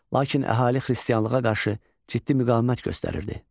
Lakin əhali xristianlığa qarşı ciddi müqavimət göstərirdi.